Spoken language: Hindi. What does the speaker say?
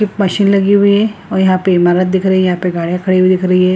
एक मशीन लगी हुई है और यहां पे इमारत दिख रही है यहाँ पे गड़ियाँ खड़ी हुई दिख रही है।